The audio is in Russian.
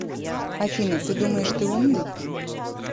афина ты думаешь ты умный